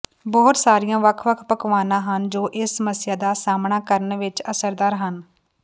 ਬਹੁਤ ਸਾਰੀਆਂ ਵੱਖ ਵੱਖ ਪਕਵਾਨਾ ਹਨ ਜੋ ਇਸ ਸਮੱਸਿਆ ਦਾ ਸਾਮ੍ਹਣਾ ਕਰਨ ਵਿੱਚ ਅਸਰਦਾਰ ਹਨ